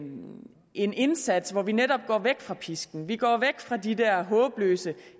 en indsats hvor vi netop går væk fra pisken vi går væk fra de der håbløse